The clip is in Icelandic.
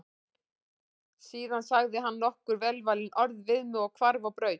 Síðan sagði hann nokkur velvalin orð við mig og hvarf á braut.